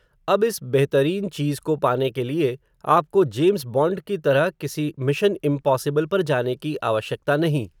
अब इस बेहतरीन चीज़ को पाने के लिए, आपको, जेम्स बॉण्ड की तरह, किसी मिशन इम्पॉसिबल पर जाने की आवश्यकता नहीं